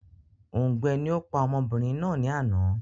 Òùngbẹ ni ó pa ọmọbìnrin náà ni àná